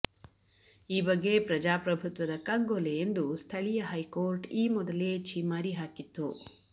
ಈ ಬಗ್ಗೆ ಪ್ರಜಾಪ್ರಭುತ್ವದ ಕಗ್ಗೊಲೆ ಎಂದು ಸ್ಥಳೀಯ ಹೈಕೋರ್ಟ್ ಈ ಮೊದಲೇ ಛೀಮಾರಿ ಹಾಕಿತ್ತು